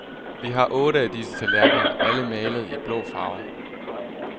Vi har otte af disse tallerkener, alle malede i blå farver.